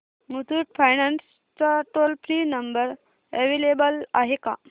Muthoot finance चा toll free number available आहे का